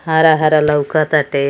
हारा-हारा लाउकताटे।